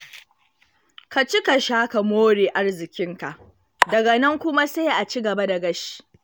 Ka ci ka sha ka more arziƙinka, daga nan kuma sai a ci gaba da gashi.